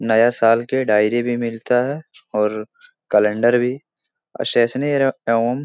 नया साल के डायरी भी मिलता है और कैलेंडर भी स्टेशनरी एवं --